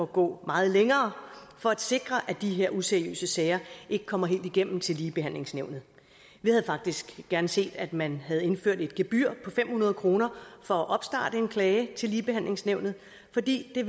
gå meget længere for at sikre at de her useriøse sager ikke kommer helt igennem til ligebehandlingsnævnet vi havde faktisk gerne set at man havde indført et gebyr på fem hundrede kroner for at opstarte en klage til ligebehandlingsnævnet fordi det